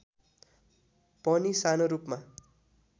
पनि सानो रूपमा